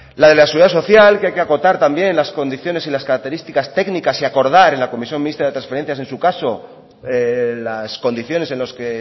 la de la seguridad social que hay que acotar también las condiciones y las características técnicas y acordar en la comisión mixta de transferencias en su caso las condiciones en los que